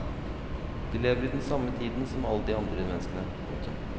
De lever i den samme tiden som alle de andre menneskene. punktum